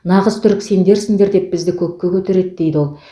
нағыз түрік сендерсіңдер деп бізді көкке көтереді дейді ол